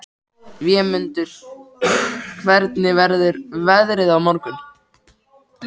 Vémundur, hvernig verður veðrið á morgun?